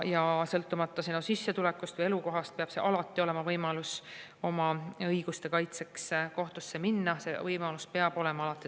Sõltumata sissetulekust või elukohast peab alati olema võimalus oma õiguste kaitseks kohtusse minna.